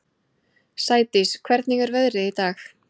Sædís, hvernig er veðrið í dag?